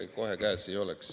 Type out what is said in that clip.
Ei, kohe käes ei oleks.